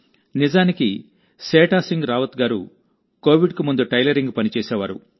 నిజానికి సేఠా సింగ్ రావత్ గారు కోవిడ్కు ముందు టైలరింగ్ పని చేసేవారు